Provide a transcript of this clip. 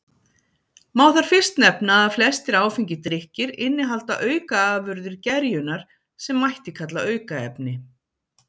Má þar fyrst nefna að flestir áfengir drykkir innihalda aukaafurðir gerjunar sem mætti kalla aukaefni.